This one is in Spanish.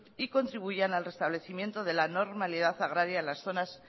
y contribuyan al restablecimiento de la normalidad agraria en las zonas